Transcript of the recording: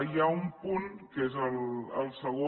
hi ha un punt que és el segon